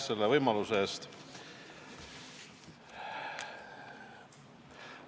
Aitäh selle võimaluse eest!